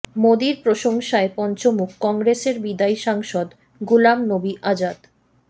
মোদির প্রশংসায় পঞ্চমুখ কংগ্রেসের বিদায়ী সাংসদ গুলাম নবি আজাদ